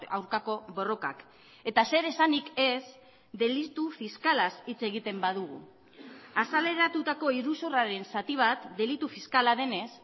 aurkako borrokak eta zer esanik ez delitu fiskalaz hitz egiten badugu azaleratutako iruzurraren zati bat delitu fiskala denez